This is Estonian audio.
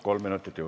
Kolm minutit juurde.